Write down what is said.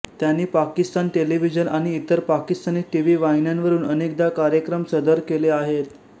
त्यानी पाकिस्तान टेलिव्हिजन आणि इतर पाकिस्तानी टीव्ही वाहिन्यांवरून अनेकदा कार्यक्रम सदर केले आहेत